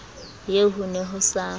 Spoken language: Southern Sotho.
eo ho ne ho sa